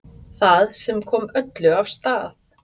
Það sem kom öllu af stað